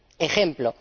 ejemplo.